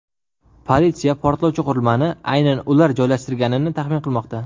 Politsiya portlovchi qurilmani aynan ular joylashtirganini taxmin qilmoqda.